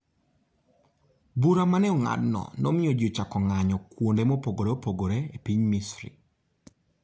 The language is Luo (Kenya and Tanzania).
Bura ma ne ong'adno nomiyo ji ochako ng'anyo kuonde mopogore opogore e piny Misri.